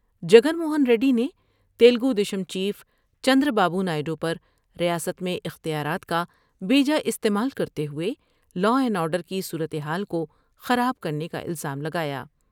جگن موہن ریڈی نے Telugu Desam chief Chandrababu Naidu پر ریاست میں اختیارات کا بے جا استعمال کرتے ہوئے لاءاینڈ آرڈر کی صورتحال کو خراب کی الزام لگایا ۔